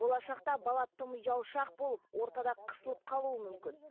болашақта бала тым ұялшақ болып ортада қысылып қалуы мүмкін